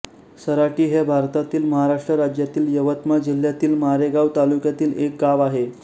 सराटी हे भारतातील महाराष्ट्र राज्यातील यवतमाळ जिल्ह्यातील मारेगांव तालुक्यातील एक गाव आहे